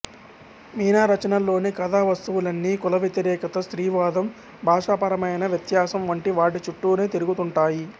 మీనా రచనల్లోని కథా వస్తువులన్నీ కుల వ్యతిరేకత స్త్రీవాదం భాషాపరమైన వ్యత్యాసం వంటి వాటి చుట్టూనే తిరుగుతుంటాయి